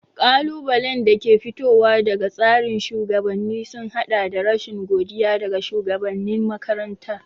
Ƙalubalen da ke fitowa daga tsarin shugabanni sun haɗa da rashin godiya daga shugabanin makaranta.